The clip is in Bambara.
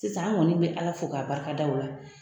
Sisan an kɔni bɛ Ala fo k'a barikada o la